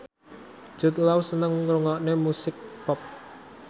Jude Law seneng ngrungokne musik pop